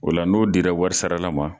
Ola n'o dira warisarala ma